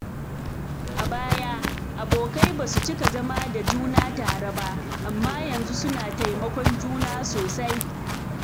A baya, abokai ba su cika zama da juna tare ba, amma yanzu suna taimakon juna sosai.